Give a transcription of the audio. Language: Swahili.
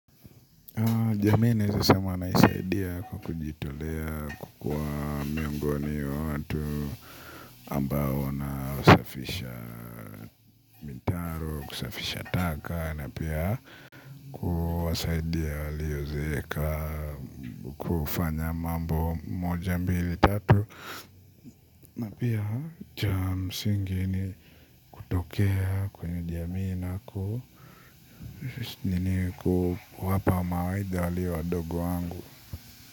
Jami nazesema naisaidia kwa kujitolea kukua miongoni wa watu ambao na wasafisha mitaro, kusafisha taka na pia kuwasaidia waliozeka kufanya mambo moja mbili tatu. Napia cha msingi ni kutokea kwenye jamii na kuwapa mawaidha walio wadogo wangu.